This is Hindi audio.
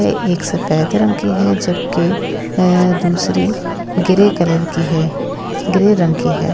एक सफेद रंग की है जबकि दूसरी ग्रे कलर की है ग्रे रंग की है।